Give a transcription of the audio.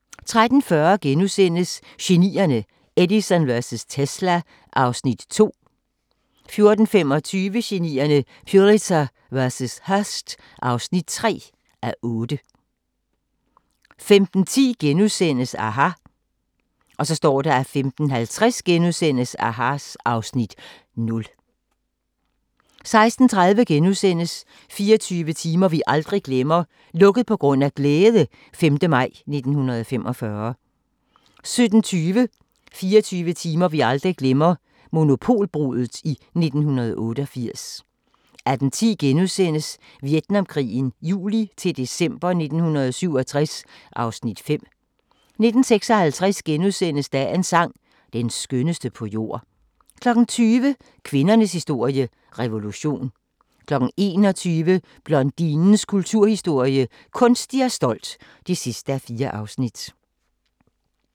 13:40: Genierne: Edison vs. Tesla (2:8)* 14:25: Genierne: Pulitzer vs. Hearst (3:8) 15:10: aHA! * 15:50: aHA! (Afs. 0)* 16:30: 24 timer vi aldrig glemmer - "Lukket på grund af glæde" - 5. maj 1945 * 17:20: 24 timer vi aldrig glemmer – Monopolbruddet i 1988 18:10: Vietnamkrigen juli-december 1967 (Afs. 5)* 19:56: Dagens sang: Den skønneste på jord * 20:00: Kvindernes historie – revolution 21:00: Blondinens kulturhistorie – Kunstig og stolt (4:4)